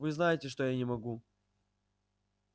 вы знаете что я не могу